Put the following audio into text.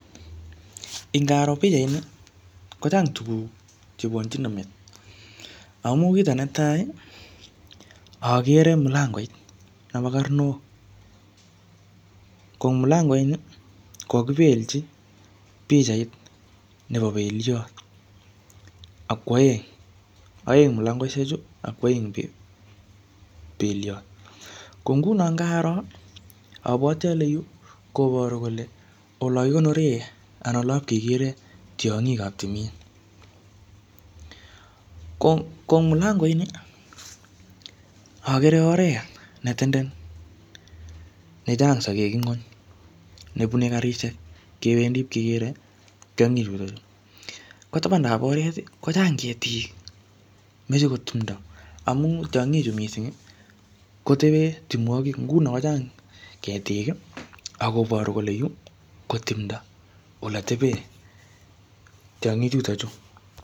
Ingaro pichait ni, kochang tuguk chebwonchino met. Amu kito netai, akere mulangoit nebo karnok. Ko ing mulangoit ni, ko kakibelchi pichait nebo beliot, ak kwaeng, aeng mulangoishek chu, ako aeng beliot. Ko nguno ngaro, abwoti ale yu, koboru kole olo kikonore anan olop kekere tiongik ap timin. Ko ing mulangoit ni, agere oret ne tenden, ne chang sagek inguny, nebune karishiek kebendi ipkeker tiongik chutochu. Ko tabandab oret, kochang ketik, meche ko timdo. Amu tiongik chu missing, kotebe timwogik, nguno kochang ketik, akoboru kole yuu ko timdo ole tebe tiongik chutochu.